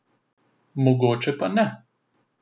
Mogoče pa ne.